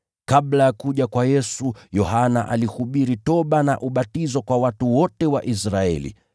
Kabla ya kuja kwa Yesu, Yohana alihubiri toba na ubatizo kwa watu wote wa Israeli.